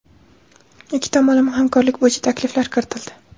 ikki tomonlama hamkorlik bo‘yicha takliflar kiritildi.